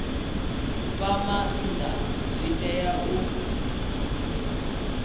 fha maanda zwi tea u